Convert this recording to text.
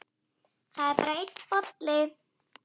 Það er bara einn bolli!